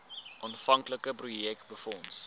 aanvanklike projek befonds